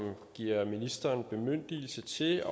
giver ministeren bemyndigelse til